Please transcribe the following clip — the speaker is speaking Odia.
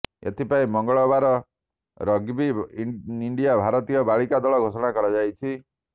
ଏଥିପାଇଁ ମଙ୍ଗଳବାର ରଗ୍ବି ଇଣ୍ଡିଆ ଭାରତୀୟ ବାଳିକା ଦଳ ଘୋଷଣା କରିଛି